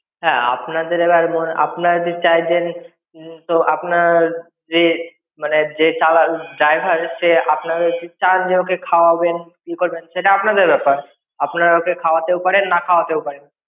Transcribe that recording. হ্যা আপনাদের এবার মনে আপনারা যে চাইছেন তো আপনার যে মানে যে চালা driver সে আপনাদের চাইলে তা আপনি ওকে খাওয়াবেন কি করবেন সেটা আপনাদের ব্যাপার আপনারা ওকে খাওয়াতেও পারেন না খাওয়াতেও পারেন.